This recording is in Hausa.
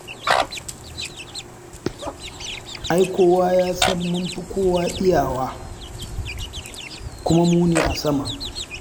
Ai kowa ya san mun fi kowa iyawa, kuma mu ne a sama.